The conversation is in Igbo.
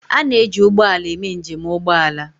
A na-eji ụgbọ ala eme njem ụgbọ ala